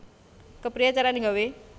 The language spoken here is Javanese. Kepriye carane gawe